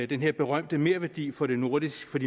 den berømte merværdi for de nordiske